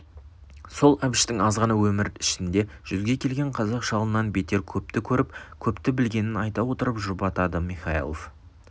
сол әбіштің азғана өмір ішінде жүзге келген қазақ шалынан бетер көпті көріп көпті білгенін айта отырып жұбатады михайлов